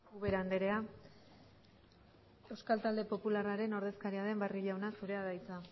ubera andrea euskal talde popularraren ordezkaria den barrio jauna zurea da hitza